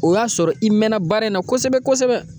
O y'a sɔrɔ i mɛnna baara in na kosɛbɛ kosɛbɛ.